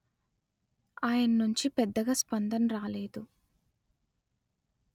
ఆయన నుంచి పెద్దగా స్పందన రాలేదు